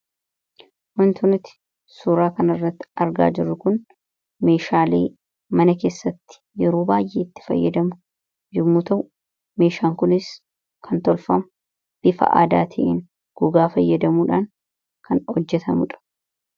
Waanta nutti suuraa kan irratti argaa jiru kun, meeshaalee mana keessatti yeroo baay'eetti fayyadamnu yommu ta'u, meeshaan kunis kan tolfamu bifa aadaat'iin gogaa fayyadamuudhaan kan hojjetamuudha.